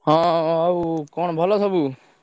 ହଁ ଆଉ କଣ ଭଲ ସବୁ?